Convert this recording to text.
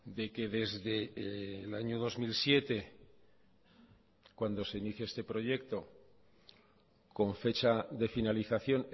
de que desde el año dos mil siete cuando se inicia este proyecto con fecha de finalización